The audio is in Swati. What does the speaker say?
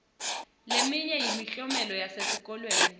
leminye yemiklomelo yesesikolweni